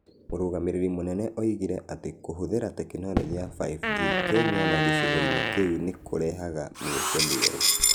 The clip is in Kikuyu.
Mũrũgamĩrĩri mũnene oigire atĩ kũhũthĩra tekinoronjĩ ya 5G Kenya na gĩcigo-inĩ kĩu nĩ kũrehaga mĩeke mĩerũ.